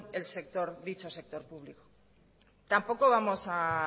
dicho sector público tampoco vamos